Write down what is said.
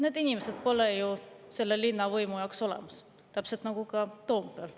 Neid inimesi pole selle linnavõimu jaoks olemas, täpselt nagu ka Toompeal.